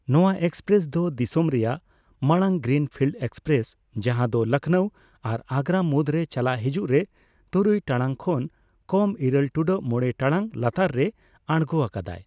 ᱱᱚᱣᱟ ᱮᱠᱯᱮᱨᱮᱥ ᱫᱚ ᱫᱤᱥᱚᱢ ᱨᱮᱭᱟᱜ ᱢᱟᱲᱟᱝ ᱜᱨᱤᱱ ᱯᱷᱤᱞ ᱮᱠᱯᱮᱨᱮᱥ, ᱡᱟᱦᱟ ᱞᱚᱠᱱᱚ ᱟᱨ ᱟᱜᱨᱟ ᱢᱩᱫ ᱨᱮ ᱪᱟᱞᱟᱜ ᱦᱤᱡᱩᱜ ᱨᱮ ᱛᱩᱨᱩᱭ ᱴᱟᱲᱟᱝ ᱠᱷᱚᱱ ᱠᱚᱢ ᱤᱨᱟᱹᱞ ᱴᱩᱰᱟᱹᱜ ᱢᱚᱲᱮ ᱴᱟᱲᱟᱝ ᱞᱟᱛᱟᱨ ᱨᱮ ᱟᱨᱜᱚ ᱟᱠᱟᱫᱟᱭ ᱾